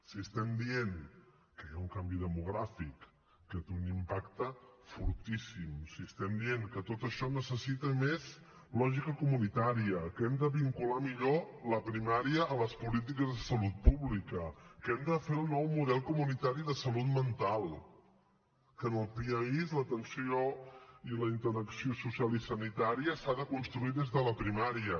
si estem dient que hi ha un canvi demogràfic que té un impacte fortíssim si estem dient que tot això necessita més lògica comunitària que hem de vincular millor la primària a les polítiques de salut pública que hem de fer el nou model comunitari de salut mental que en el piaiss l’atenció i la interacció social i sanitària s’han de construir des de la primària